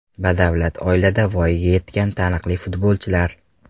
Badavlat oilada voyaga yetgan taniqli futbolchilar.